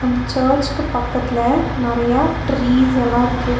அந்த சர்ச்சுக்கு பக்கத்துல நெறையா ட்ரீஸ்ஸல்லாருக்கு .